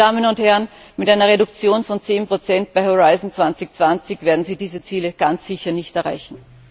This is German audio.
Meine Damen und Herren, mit einer Reduktion von 10 bei Horizont 2020 werden Sie diese Ziele ganz sicher nicht erreichen.